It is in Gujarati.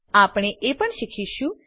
આપણે એ પણ શીખીશું